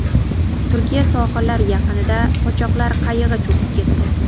Turkiya sohillari yaqinida qochoqlar qayig‘i cho‘kib ketdi.